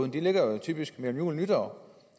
de ligger jo typisk mellem jul og nytår